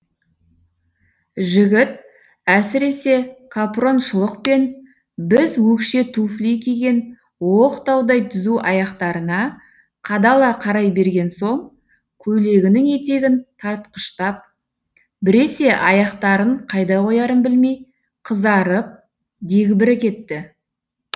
жігіт әсіресе капрон шұлық пен біз өкше туфли киген оқтаудай түзу аяқтарына қадала қарай берген соң көйлегінің етегін тартқыштап біресе аяқтарын қайда қоярын білмей қызарып дегбірі кетті